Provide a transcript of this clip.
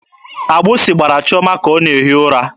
Agbụsị gbara Chiọma ka ọ na-ehi ụra.